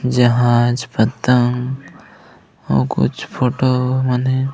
जहाज पतंग अऊ कुछ फोटो बने हे।